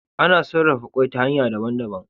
Ana sarafa kwai ta hanya daban daban